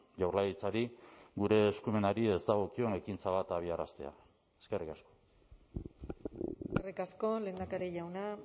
jaurlaritzari gure eskumenari ez dagokion ekintza bat abiaraztea eskerrik asko eskerrik asko lehendakari jauna